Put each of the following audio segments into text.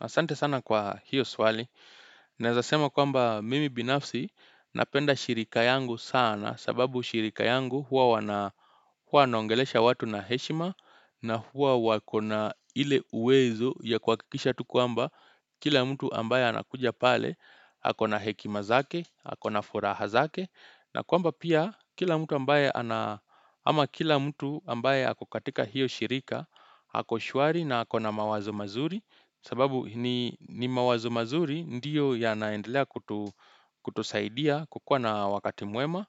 Asante sana kwa hiyo swali. Naezasema kwamba mimi binafsi napenda shirika yangu sana sababu shirika yangu huwa wanaongelesha watu na heshima na huwa wakona ile uwezo ya kuhakikisha tu kwamba kila mtu ambaye anakuja pale hako na hekima zake hako na furaha zake. Na kwamba pia kila mtu ambaye ama kila mtu ambaye hako katika hiyo shirika hako shuari na hako na mawazo mazuri sababu ni mawazo mazuri ndiyo yanaendelea kutusaidia kukua na wakati muema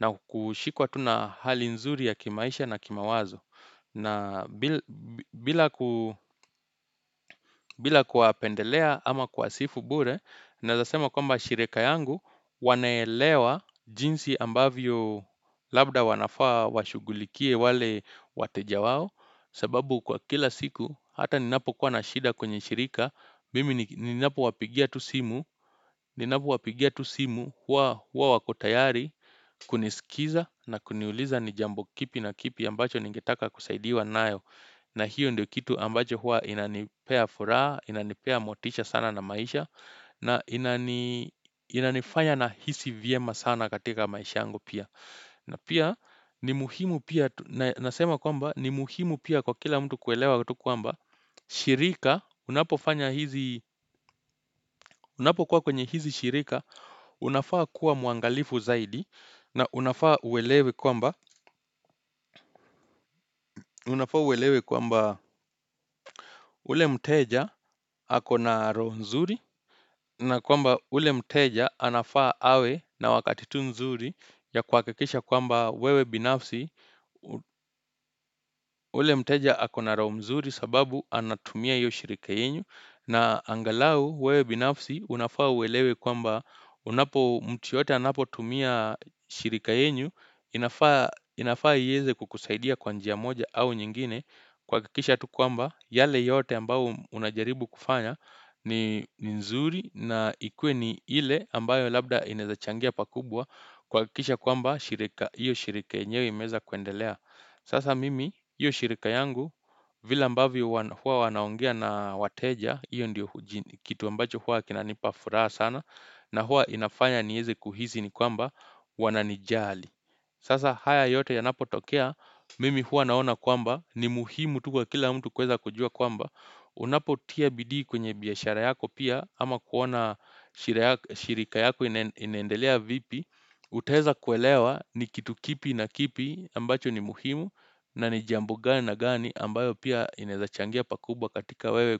na kushikuwa tu na hali nzuri ya kimaisha na kimawazo. Na bila kuwapendelea ama kuwasifu bure, naezasema kwamba shirika yangu wanaelewa jinsi ambavyo labda wanafaa washugulikie wale wateja wao. Sababu kwa kila siku, hata ninapo kuwa nashida kwenye shirika, mimi ninapo wapigia tusimu, ninapo wapigia tusimu, hua wakotayari, kunisikiza na kuniuliza ni jambo kipi na kipi ambacho ningetaka kusaidiwa nayo. Na hiyo ndio kitu ambacho hua inanipea furaa, inanipea motisha sana na maisha na inanifanya na hisi vyema sana katika maisha yangu pia na pia ni muhimu pia, nasema kwamba, ni muhimu pia kwa kila mtu kuelewa utu kwamba shirika, unapo kuwa kwenye hizi shirika, unafaa kuwa muangalifu zaidi na unafaa uwelewe kwamba ule mteja ako na roho mzuri na kwamba ule mteja anafaa awe na wakatitu mzuri ya kuhakikisha kwamba wewe binafsi ule mteja ako na roho mzuri sababu anatumia iyo shirika yenyu na angalau wewe binafsi unafaa uwelewe kwamba unapo mtu yeyote anapo tumia shirika yenyu inafaa iyeze kukusaidia kwa njia moja au nyingine kuhakikisha tu kwamba yale yote ambao unajaribu kufanya ni nzuri na ikue ni ile ambayo labda inaezachangia pakubwa kuhakikisha kwamba shirika, iyo shirika enyewe imeeza kuendelea sasa mimi, iyo shirika yangu vile ambavyo hua wanaongea na wateja iyo ndiyo kitu ambacho hua kinanipa furaha sana na hua inafanya nieze kuhizi ni kwamba wananijali Sasa haya yote yanapo tokea, mimi hua naona kwamba, ni muhimu tu kwa kila mtu kuweza kujua kwamba, unapo tia bidii kwenye biashara yako pia ama kuona shirika yako inaendelea vipi, utaeza kuelewa ni kitu kipi na kipi ambacho ni muhimu na ni jambo gani na gani ambayo pia inaezachangia pakubwa katika wewe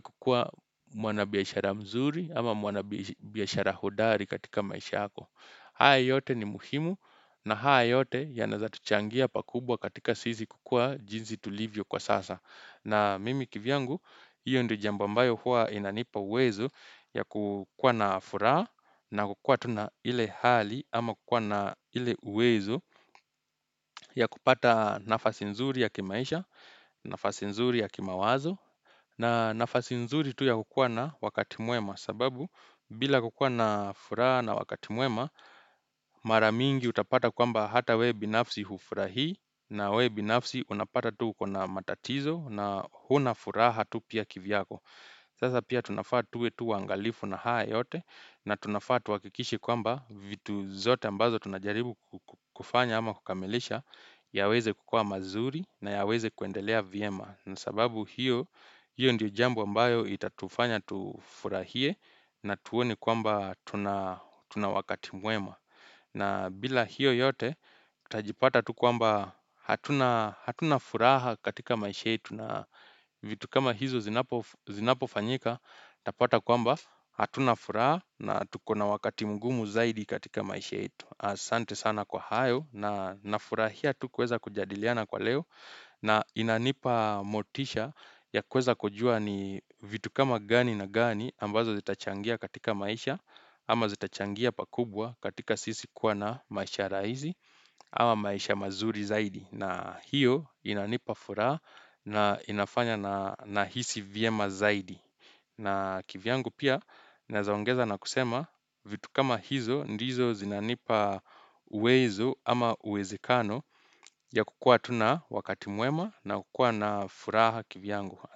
kukua mwana biashara mzuri ama mwana biashara hodari katika maisha yako. Haya yote ni muhimu na haa yote yanaezatuchangia pakubwa katika sisi kukua jinsi tulivyo kwa sasa. Na mimi kivyangu, hiyo ndo jambo ambayo huwa inanipa uwezo ya kukua na furaha na kukua tuna ile hali ama kukua na ile uwezo ya kupata nafasi nzuri ya kimaisha, nafasi nzuri ya kimawazo. Na nafasi nzuri tu ya kukua na wakati mwema sababu bila kukua na furaha na wakati mwema maramingi utapata kwamba hata we binafsi hufurahi na we binafsi unapata tu uko na matatizo na huna furaha tu pia kivyako. Sasa pia tunafaa tuwe tu waangalifu na haa yote na tunafaa tuhakikishe kwamba vitu zote ambazo tunajaribu kufanya ama kukamilisha yaweze kukua mazuri nayaweze kuendelea vyema na sababu hiyo hiyo ndio jambo ambayo itatufanya tufurahie na tuone kwamba tuna wakati mwema. Na bila hiyo yote, tutajipata tu kwamba hatuna hatuna furaha katika maisha yetu na vitu kama hizo zinapofanyika, tapata kwamba hatuna furaha na tuko na wakati mgumu zaidi katika maisha yetu. Asante sana kwa hayo na nafurahia tu kuweza kujadiliana kwa leo na inanipa motisha ya kuweza kujua ni vitu kama gani na gani ambazo zitachangia katika maisha ama zitachangia pakubwa katika sisi kuwa na maisha raizi ama maisha mazuri zaidi na hiyo inanipa furaha na inafanya na hisi vyema zaidi na kivyangu pia naezaongeza na kusema vitu kama hizo, ndizo zinanipa uwezo ama uwezekano ya kukua tuna wakati mwema na kukua na furaha kivyangu.